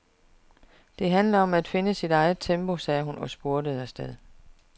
Det handler om at finde sit eget tempo, sagde hun og spurtede afsted.